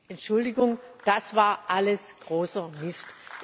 Entschuldigung, das war alles großer Mist.